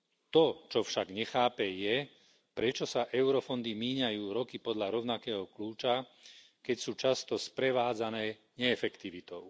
To, čo však nechápe, je, prečo sa eurofondy míňajú roky podľa rovnakého kľúča, keď sú často sprevádzané neefektivitou.